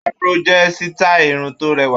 Afro jẹ́ sítáì irun tó rẹwà.